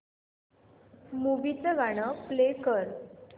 movie चं गाणं play कर